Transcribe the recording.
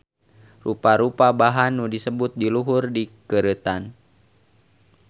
Rupa-rupa bahan nu disebut di luhur dikeureutan